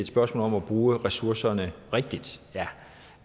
spørgsmål om at bruge ressourcerne rigtigt ja